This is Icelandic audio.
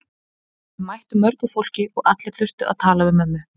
Þau mættu mörgu fólki og allir þurftu að tala við mömmu.